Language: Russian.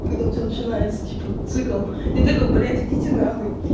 когда у тебя начинается типа цикл и ты как блять идити на хуй